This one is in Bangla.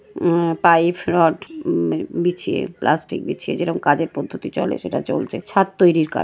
উম-- পাইপ রড উম বিছিয়ে প্লাস্টিক বিছিয়ে যেরকম কাজের পদ্ধতি চলে সেটা চলছে ছাদ তৈরীর কাজ |